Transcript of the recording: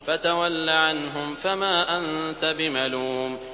فَتَوَلَّ عَنْهُمْ فَمَا أَنتَ بِمَلُومٍ